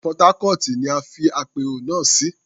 Port Harcourt ni a fi àpérò náà sí.